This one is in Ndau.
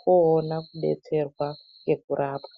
koona kudetserwa ngekurapwa.